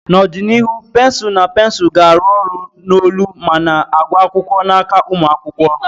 N'ọdịnihu, pensụl na pensụl ga-arụ ọrụ n'olu ma na-agụ akwụkwọ n'aka ụmụ akwụkwọ.